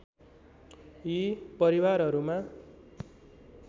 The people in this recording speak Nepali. यी परिवारहरूमा